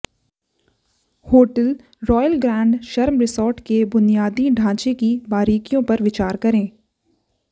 hotel Royal Grand Sharm resort के बुनियादी ढांचे की बारीकियों पर विचार करें